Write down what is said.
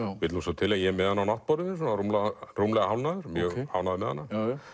vill til að ég er með hana á náttborðinu mjög ánægður með hana